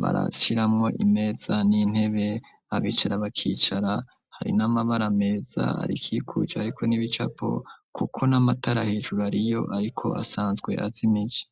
barashiramwo imeza n'intebe abicara bakicara hari n'amabara ameza arikikuje, ariko n'ibicapo, kuko n'amatara hijuru ari yo, ariko asane nzwe azi imici.